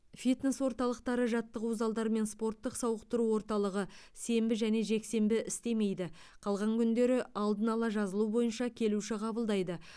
фитнес орталықтары жаттығу залдары мен спорттық сауықтыру орталығы сенбі және жексенбі істемейді қалған күндері алдын ала жазылу бойынша келуші қабылдайды